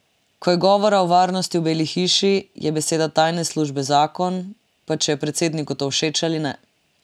Ko je govora o varnosti v Beli hiši, je beseda tajne službe zakon, pa če je predsedniku to všeč ali ne.